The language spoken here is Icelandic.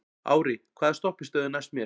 Ári, hvaða stoppistöð er næst mér?